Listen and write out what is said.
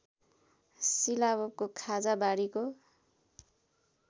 सिलावको खाजा बाढीको